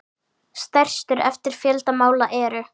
Stærstu eftir fjölda mála eru